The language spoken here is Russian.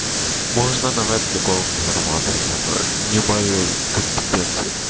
можно на вебке голым не зарабатывать это не в моей компетенции